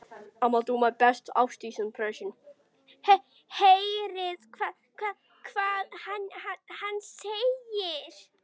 Heyrið hvað hann segir.